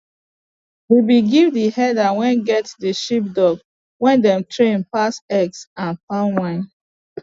we been give the herder wey get the sheepdog wey dem train pass eggs and palm wine